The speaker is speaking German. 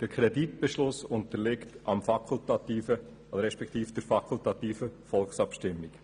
Der Kreditbeschluss unterliegt der fakultativen Volksabstimmung.